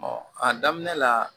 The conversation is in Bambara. a daminɛ la